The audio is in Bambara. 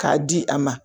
K'a di a ma